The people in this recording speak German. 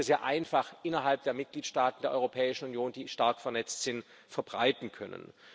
sehr einfach innerhalb der Mitgliedstaaten der Europäischen Union, die stark vernetzt sind, verbreiten können.